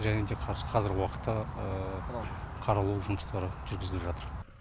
және де қазіргі уақытта қаралу жұмыстары жүргізіліп жатыр